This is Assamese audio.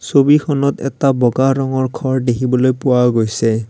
ছবিখনত এটা বগা ৰঙৰ ঘৰ দেখিবলৈ পোৱা গৈছে।